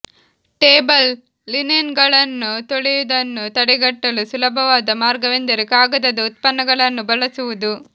table ಲಿನೆನ್ಗಳನ್ನು ತೊಳೆಯುವುದನ್ನು ತಡೆಗಟ್ಟಲು ಸುಲಭವಾದ ಮಾರ್ಗವೆಂದರೆ ಕಾಗದದ ಉತ್ಪನ್ನಗಳನ್ನು ಬಳಸುವುದು